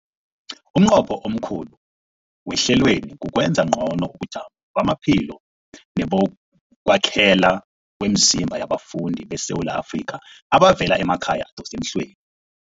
Umnqopho omkhulu wehlelweli kukwenza ngcono ubujamo bamaphilo nebokwakhela kwemizimba yabafundi beSewula Afrika abavela emakhaya adosa emhlweni.